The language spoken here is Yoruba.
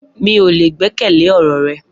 Mi o le gbẹkẹle ọ̀rọ̀ rẹ